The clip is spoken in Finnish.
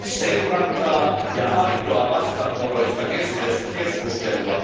seurantaa ja aitoa vastavuoroista keskustelua.